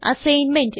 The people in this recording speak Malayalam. അസൈൻമെന്റ്